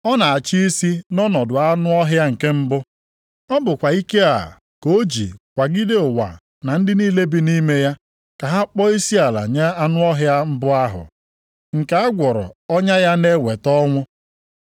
Ọ na-achị isi nʼọnọdụ anụ ọhịa nke mbụ. Ọ bụkwa ike a ka o ji kwagide ụwa na ndị niile bi nʼime ya ka ha kpọọ isiala nye anụ ọhịa mbụ ahụ nke a gwọrọ ọnya ya na-eweta ọnwụ.